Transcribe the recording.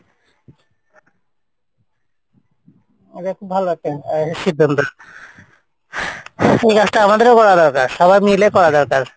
এটা খুব ভালো একটা আহ সিদ্ধান্ত এই কাজ টা আমাদেরও করা দরকার সবাই মিলে করা দরকার